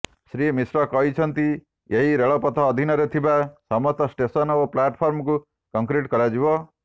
ଶ୍ରୀ ମିଶ୍ର କହିଛନ୍ତି ଏହି ରେଳପଥ ଅଧୀନରେ ଥିବା ସମସ୍ତ ଷ୍ଟେସନ୍ ଓ ପ୍ଲାଟଫର୍ମକୁ କଂକ୍ରିଟ୍ କରାଯିବ